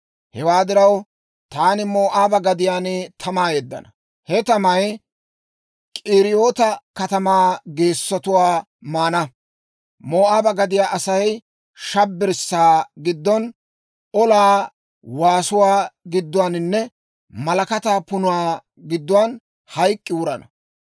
Hewaa diraw, taani Moo'aaba gadiyaan tamaa yeddana; he tamay K'iriyoota katamaa geessotuwaa maana. Moo'aaba gadiyaa Asay shabbirssaa giddon, olaa waasuwaa gidduwaaninne malakataa punuwaa giddon hayk'k'i wurana.